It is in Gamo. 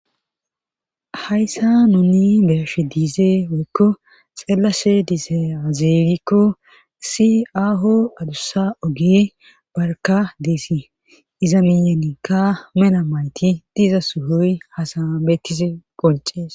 Hayssa nuni beashe diizee woykko xellase dizea zeeygikko si aaho adussa ogee barka deesi izamiyanika mena mayti diza suhoy hasaabeettise qoncees.